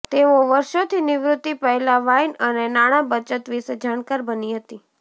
તેઓ વર્ષોથી નિવૃત્તિ પહેલાં વાઇન અને નાણાં બચત વિશે જાણકાર બની હતી